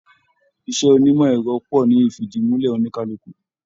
Iṣẹ onimọ ẹrọ pọ ní ifidimulẹ oníkálukú.